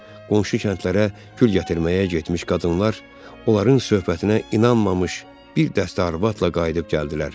Qonşu kəndlərə gül gətirməyə getmiş qadınlar, onların söhbətinə inanmamış bir dəstə arvadla qayıdıb gəldilər.